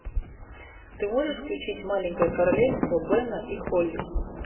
ты можешь включить маленькое королевство бена и холли